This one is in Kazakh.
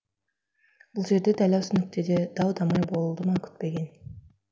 бұл жерде дәл осы нүктеде дау дамай болды ма күтпеген